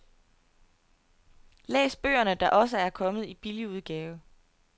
Læs bøgerne, der også er kommet i billigudgave.